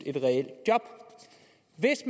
et